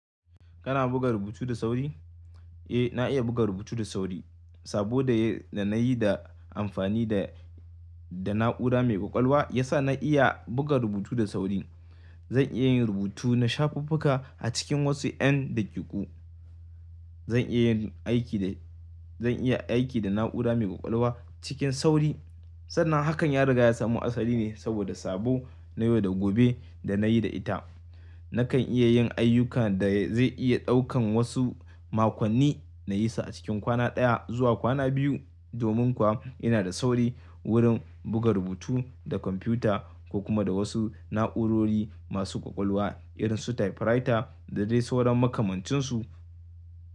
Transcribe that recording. Kana buga rubutu da sauri? Eh, na iya buga rubutu da sauri. Saboda da nayi da amfani da, da na'urar mai ƙwaƙwalwa ya sa na iya buga rubutu da sauri. Zan iya yin rubutu na shafuffuka a cikin wasu yan daƙiƙu. Zan iya yin aiki da, zan iya aiki da na'urar mai ƙwaƙwalwa cikin sauri. Sannan hakan ya riga ya samu asali ne saboda sabo na yau da gobe da nayi da ita. Nakan iya yin ayyukan da zai iya ɗaukan wasu makonni nayi su a cikin kwana ɗaya zuwa kwana biyu. Domin kuwa ina da sauri wurin buga rubutu da kwamfuta ko kuma da wasu na'urori masu ƙwaƙwalwa irin su typewriter da dai sauran makamancinsu.